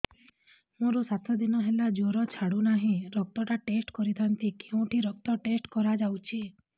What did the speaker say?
ମୋରୋ ସାତ ଦିନ ହେଲା ଜ୍ଵର ଛାଡୁନାହିଁ ରକ୍ତ ଟା ଟେଷ୍ଟ କରିଥାନ୍ତି କେଉଁଠି ରକ୍ତ ଟେଷ୍ଟ କରା ଯାଉଛି